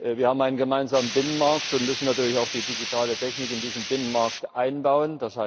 Wir haben einen gemeinsamen Binnenmarkt und müssen natürlich auch die digitale Technik in diesen Binnenmarkt einbauen.